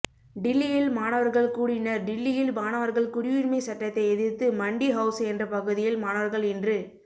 டில்லியில் மாணவர்கள் கூடினர்டில்லியில் மாணவர்கள் குடியுரிமை சட்டத்தை எதிர்த்து மண்டி ஹவுஸ் என்ற பகுதியில் மாணவர்கள் இன்று